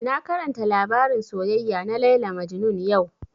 Na karanta labarin soyayya na Layla Majnun yau